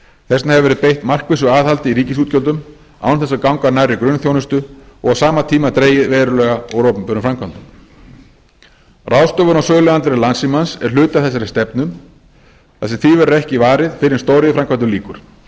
þess vegna hefur verið beitt markvissu aðhaldi í ríkisútgjöldum án þess að ganga nærri grunnþjónustu og á sama tíma dregið verulega úr opinberum framkvæmdum ráðstöfun á söluandvirði landssímans er hluti af þessari stefnu þar sem því verður ekki varið fyrr en stóriðjuframkvæmdum lýkur